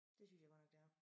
Det synes jeg godt nok det er